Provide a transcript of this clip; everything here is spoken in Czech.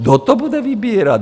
Kdo to bude vybírat?